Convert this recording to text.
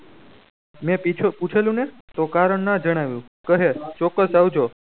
મેં પીછે પૂછેલુ ને તો કારણ જ જણાવ્યું કહે ચોકજ આવજો